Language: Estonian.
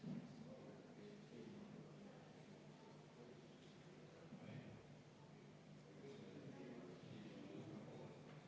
Nii et palun võtta seisukoht ja hääletada!